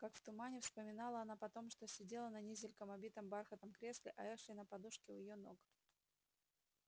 как в тумане вспоминала она потом что сидела на низеньком обитом бархатом кресле а эшли на подушке у её ног